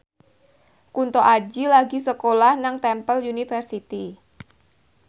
Kunto Aji lagi sekolah nang Temple University